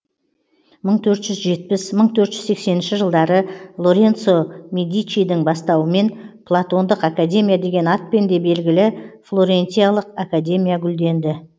мың төрт жүз жетпіс мың төрт жүз сексенінші жылдары лоренцо медичидің бастауымен платондық академия деген атпен де белгілі флорентиялық академия гүлденді